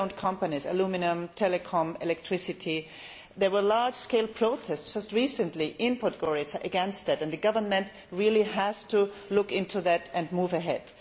State owned companies aluminium, telecom, electricity there were large scale protests just recently in Podgorica against this, and the government really has to look into this and move ahead.